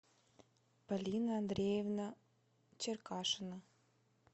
полина андреевна черкашина